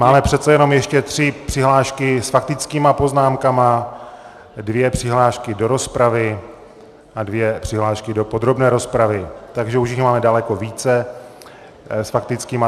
Máme přece jenom ještě tři přihlášky s faktickými poznámkami, dvě přihlášky do rozpravy a dvě přihlášky do podrobné rozpravy, takže už jich máme daleko více s faktickými.